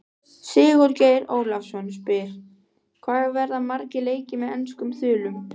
Sigurgeir Ólafsson spyr: Hvað verða margir leikir með enskum þulum?